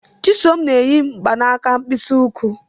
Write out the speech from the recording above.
Chisom n'eyi mgbanaka mkpịsị ụkwụ.